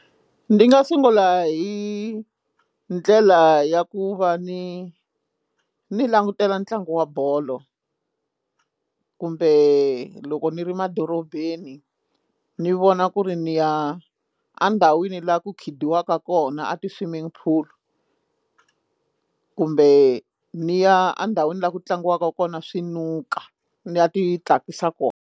Ndi nga sungula hi ndlela ya ku va ni ni langutela ntlangu wa bolo kumbe loko ni ri madorobeni ni vona ku ri ni ya endhawini laha ku khida waka kona a ti swimming pool kumbe ni ya endhawini laha ku tlangiwaka kona swinuka ni ya ti tsakisa kona.